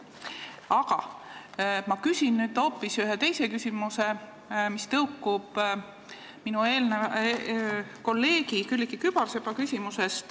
Aga ma küsin nüüd ühe küsimuse, mis tõukub kolleeg Külliki Kübarsepa küsimusest.